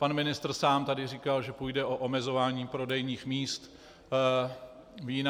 Pan ministr sám tady říkal, že půjde o omezování prodejních míst vína.